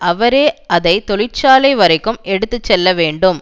அவரே அதை தொழிற்சாலை வரைக்கும் எடுத்து செல்ல வேண்டும்